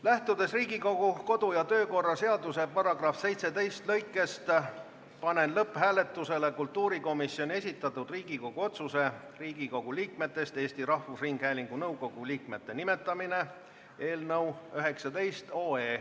Lähtudes Riigikogu kodu- ja töökorra seaduse § 117 lõikest 3, panen lõpphääletusele kultuurikomisjoni esitatud Riigikogu otsuse "Riigikogu liikmetest Eesti Rahvusringhäälingu nõukogu liikmete nimetamine" eelnõu.